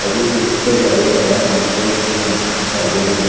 ಅವ್ವೆ ಫೀಲ್ ಇತ್ತೆಗ್ಲ ಯೇರ್ನ ಡಾನ್ಸ್ ಸ್ಟೇಜ್ಡ್ ತೂನಗ ಅವ್ವೆ ಫೀಲ್ ಆಪುಂಡು.